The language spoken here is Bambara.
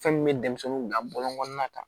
Fɛn min bɛ denmisɛnninw bila bɔlɔn kɔnɔna kan